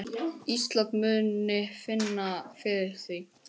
Ísland muni finna fyrir því.